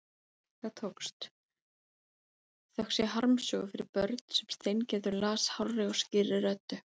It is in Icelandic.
Það tókst, þökk sé harmsögu fyrir börn sem Steingerður las hárri og skýrri röddu.